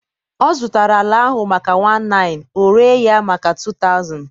ọ zụtara ala ahụ maka 1900, o rere ya maka 2000)